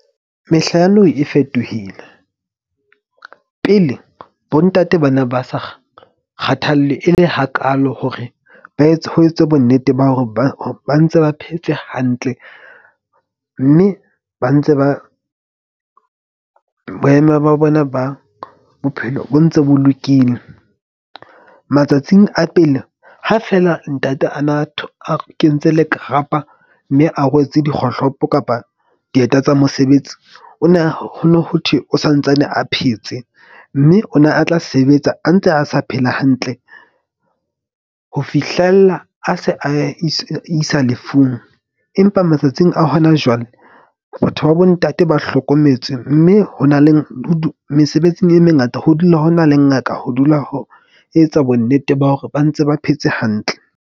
Mehla ya nou e fetohile pele bontate ba na ba sa kgathalle e le hakaalo hore ba etse ho etswe bonnete ba hore ba ntse ba phetse hantle. Mme ba ntse ba boemo ba bona ba bophelo bo ntse bo lokile. Matsatsing a pele ha feela ntate ana a kentse lekarapa, mme a rwetse dikgohlopo kapa dieta tsa mosebetsi. Ona, ho no ho thwe o santsane a phetse. Mme o ne a tla sebetsa a ntse a sa phela hantle ho fihlella a se a isa lefung. Empa matsatsing a hona jwale batho ba bo ntate ba hlokometswe. Mme ho na le mesebetsing e mengata ho dula ho na le ngaka ho dula ho etsa bonnete ba hore ba ntse ba phetse hantle.